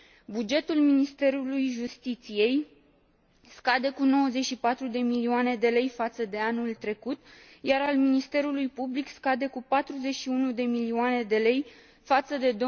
Bugetul Ministerului Justiției scade cu 94 de milioane de lei față de anul trecut, iar cel al Ministerului Public scade cu 41 de milioane de lei față de